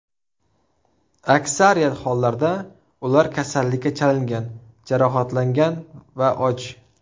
Aksariyat hollarda ular kasallikka chalingan, jarohatlangan va och.